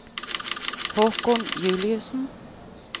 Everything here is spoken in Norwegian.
Haakon Juliussen